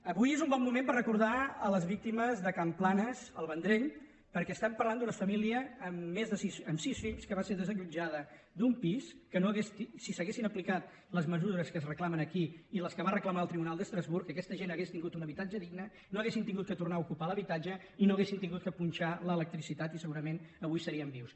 avui és un bon moment per recordar les víctimes de can planas al vendrell perquè parlem d’una família amb sis fills que va ser desallotjada d’un pis que si s’haguessin aplicat les mesures que es reclamen aquí i les que va reclamar el tribunal d’estrasburg aquesta gent hauria tingut un habitatge digne no haurien hagut de tornar a ocupar l’habitatge i no haurien hagut de punxar l’electricitat i segurament avui serien vius